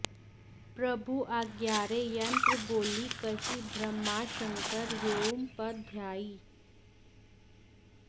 प्रभु आज्ञारे यन्त्रबोलि कहि ब्रह्माशंकर येउं पद ध्यायी